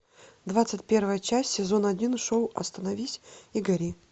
двадцать первая часть сезон один шоу остановись и гори